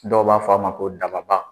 Dɔw b'a f'a ma ko dababa.